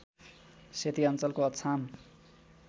सेती अञ्चलको अछाम